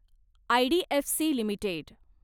IDFC limited